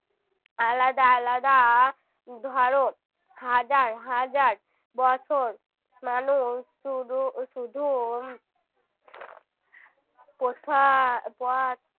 আলাদা আলাদা ধরো হাজার হাজার বছর মানুষ শুধু শুধু পোশাক